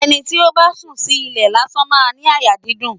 Ẹni tí ó bá sùn sí ilẹ̀ lásán máa ń ní àyà dídùn.